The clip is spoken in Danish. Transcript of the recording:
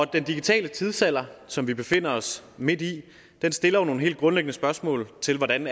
digitale tidsalder som vi befinder os midt i stiller jo nogle helt grundlæggende spørgsmål til hvordan